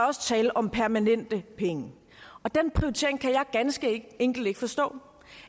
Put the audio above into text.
også tale om permanente penge den prioritering kan jeg ganske enkelt ikke forstå